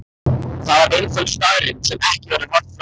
Það er einföld staðreynd sem ekki verður horft fram hjá.